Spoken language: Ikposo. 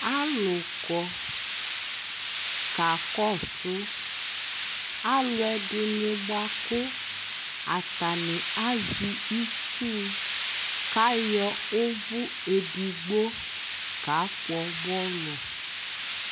alu kɔ ka kɔsu alu ɛdini baku atani aʒɛ itʒu ku aɣɔ ʋvu edigbo ka kpɔ bɔlu